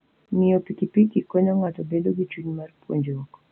Ng'iyo pikipiki konyo ng'ato bedo gi chuny mar puonjruok.